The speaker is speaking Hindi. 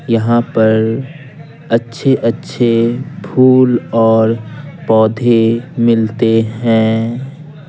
यहां पर अच्छे-अच्छे फूल और पौधे मिलते हैं।